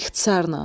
İxtisarla.